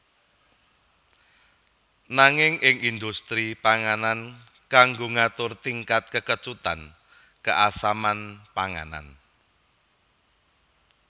Nanging ing indhustri panganan kanggo ngatur tingkat kekecutan keasaman panganan